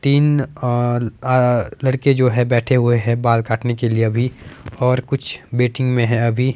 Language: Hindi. तीन अह अह लड़के जो है बैठे हुए हैं बाल काटने के लिए अभी और कुछ वेटिंग में है अभी।